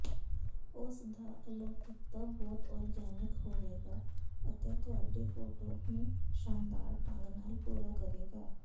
ਉਸ ਦਾ ਅਲੌਕਿਕਤਾ ਬਹੁਤ ਔਰਗੈਨਿਕ ਹੋਵੇਗਾ ਅਤੇ ਤੁਹਾਡੀ ਫੋਟੋ ਨੂੰ ਸ਼ਾਨਦਾਰ ਢੰਗ ਨਾਲ ਪੂਰਾ ਕਰੇਗਾ